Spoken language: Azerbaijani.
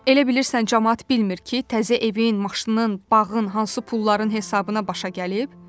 Elə bilirsən camaat bilmir ki, təzə evin, maşının, bağın hansı pulların hesabına başa gəlib?